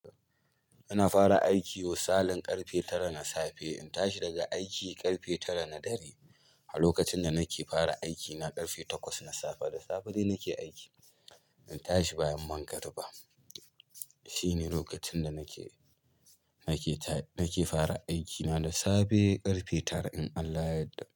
Ina fara aiki misalin ƙarfe tara na safe, in tashi daga aiki ƙarfe tara na dare. A lokacin da nake fara aiki na ƙarfe takwas na safe da safe dai nake aiki, in tashi bayan mangariba. Shine lokacin da nake, nake ta, nake fara aiki na da safe ƙarfe tara in Allah ya yadda.